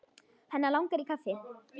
Hann langar í kaffi.